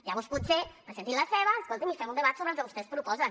llavors potser presentin la seva escoltin i fem un debat sobre el que vostès proposen